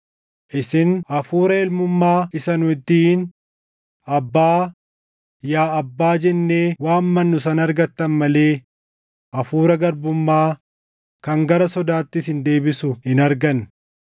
Isin Hafuura ilmummaa isa nu ittiin, “ Aabbaa, yaa Abbaa” jennee waammannu sana argattan malee Hafuura garbummaa kan gara sodaatti isin deebisu hin arganne.